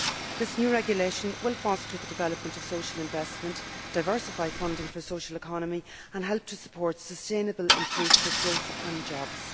This new regulation will foster the development of social investment, diversify funding for the social economy and help to support sustainable inclusive growth and jobs.